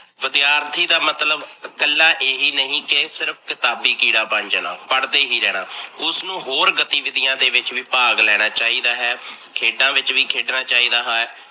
ਵਿਦਿਆਰਥੀ ਦਾ ਮਤਲਬ ਇਕੱਲਾ ਏਹੀ ਨਹੀਂ ਕੀ ਸਿਰਫ ਕਿਤਾਬੀ ਕੀੜਾ ਬਣ ਜਾਣਾ, ਪੜਦੇ ਹੀ ਰਹਣਾ, ਉਸਨੂੰ ਹੋਰ ਗਤੀਵਿਦਿਆ ਦੇ ਵਿੱਚ ਵੀ ਭਾਗ ਲੈਣਾ ਚਾਹੀਦਾ ਹੈ, ਖੇਡਾ ਵਿੱਚ ਵੀ ਖੇਡਣਾ ਚਾਹੀਦਾ ਹੈ।